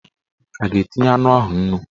A ga-etinye anụ ahụ nnu?